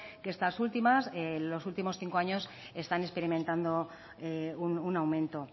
que estas últimas en los últimos cinco años están experimentando un aumento